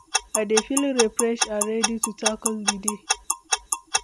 I dey feel refreshed and ready to tackle di day.